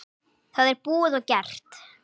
Það er búið og gert.